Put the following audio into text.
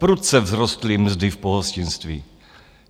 Prudce vzrostly mzdy v pohostinství.